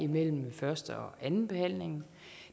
mellem første og andenbehandlingen